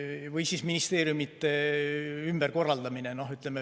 Või ministeeriumide ümberkorraldamine.